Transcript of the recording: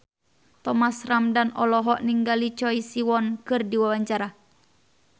Thomas Ramdhan olohok ningali Choi Siwon keur diwawancara